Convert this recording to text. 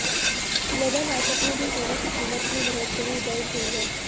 global market में भी सोने की कीमत में बढ़ोतरी दर्ज हुई है